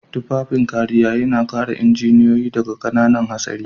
Tufafin kariya yana kare injiniyoyi daga ƙananan hatsari.